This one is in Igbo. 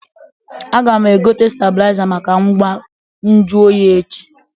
A ga m egote stabịlaiza maka ngwa nju oyi echi